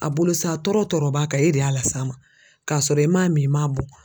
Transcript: A bolo sa tɔɔrɔ tɔɔrɔ b'a kan e de y'a las'a ma k'a sɔrɔ i m'a min i a bɔn